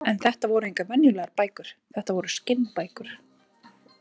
En þetta voru engar venjulegar bækur, þetta voru skinnbækur.